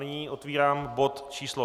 Nyní otvírám bod číslo